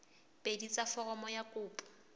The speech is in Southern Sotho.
pedi tsa foromo ya kopo